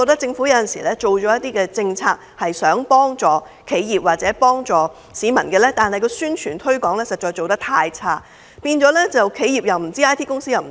政府有時雖然推出政策幫助企業或市民，但宣傳推廣實在做得太差，企業不知道、IT 公司也不知道。